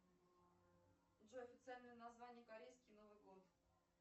джой официальное название корейский новый год